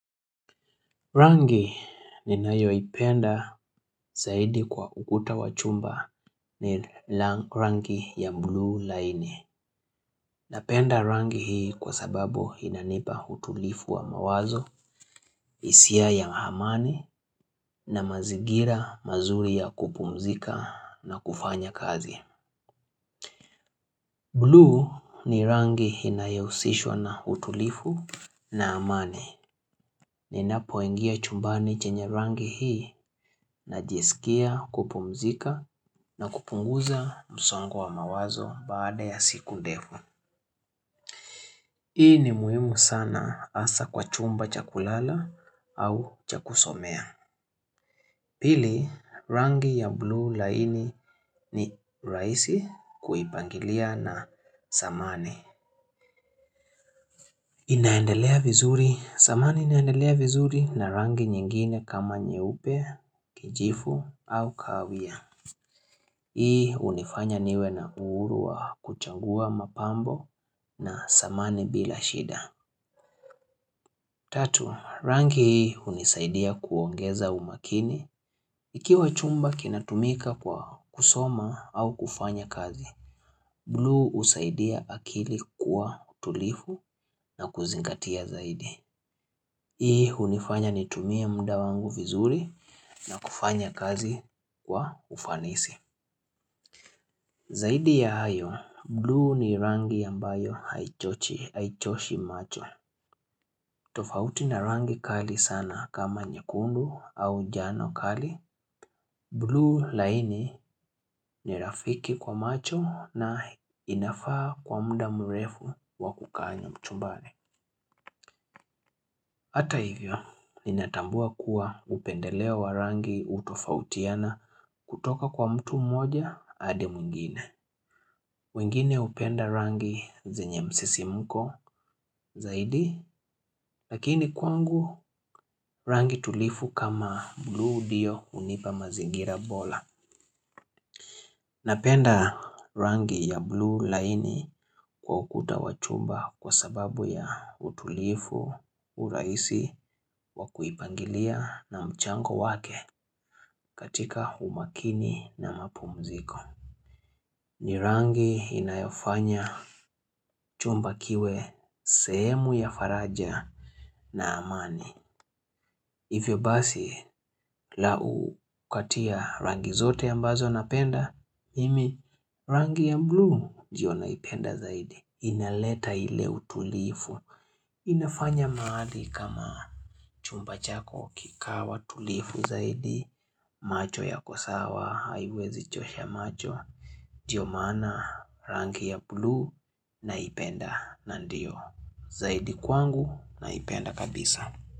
Rangi ni nayo ipenda saidi kwa ukuta wa chumba ni rang rangi ya buluu laini Napenda rangi hii kwa sababu inanipa hutulifu wa mawazo, hisia ya amani na mazigira mazuri ya kupumzika na kufanya kazi. Buluu ni rangi inayohusishwa na utulifu na amani. Ninapoingia chumbani chenye rangi hii na jisikia kupumzika na kupunguza msongo wa mawazo baada ya siku ndefu. Hii ni muhimu sana asa kwa chumba cha kulala au cha kusomea. Pili rangi ya buluu laini ni rahisi kuipangilia na samane. Inaendelea vizuri. Samane inaendelea vizuri na rangi nyingine kama nyeupe, kijivu au kawia. Hii hunifanya niwe na uhuru wa kuchangua mapambo na samane bila shida. Tatu, rangi hunisaidia kuongeza umakini. Ikiwa chumba kinatumika kwa kusoma au kufanya kazi, buluu husaidia akili kuwa tulifu na kuzingatia zaidi. Hii hunifanya nitumia mda wangu vizuri na kufanya kazi kwa ufanisi. Zaidi ya hayo, buluu ni rangi ambayo haichochi haichoshi macho. Tofauti na rangi kali sana kama nyekundu au jano kali. Buluu laini ni rafiki kwa macho na inafaa kwa mda mrefu wakukanya chumbani Hata hivyo, ninatambua kuwa upendeleo wa rangi utofautiana kutoka kwa mtu mmoja hadi mwingine. Mwingine hupenda rangi zenye msisimko zaidi, lakini kwangu rangi tulifu kama buluu ndio hunipa mazingira bola. Napenda rangi ya buluu laini kwa ukuta wa chumba kwa sababu ya utulivu, urahisi, wakuipangilia na mchango wake katika umakini na mapumziko. Ni rangi inayo fanya chumba kiwe sehemu ya faraja na amani. Hivyo basi la ukatia rangi zote ambazo napenda imi rangi ya buluu ndio naipenda zaidi inaleta ile utulivu inafanya mahali kama chumba chako kikawa tulifu zaidi macho yako sawa haiwezi chosha macho ndio maana rangi ya buluu naipenda na ndio zaidi kwangu naipenda kabisa.